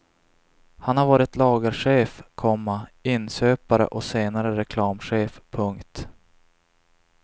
Han har varit lagerchef, komma inköpare och senare reklamchef. punkt